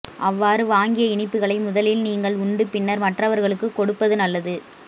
அவ்வாறு வாங்கிய இனிப்புகளை முதலில் நீங்கள் உண்டு பின்னர் மற்றவர்களுக்கு கொடுப்பது நல்லது